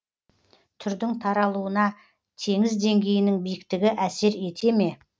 түрдің таралуына теңіз деңгейінің биіктігі әсер ете ме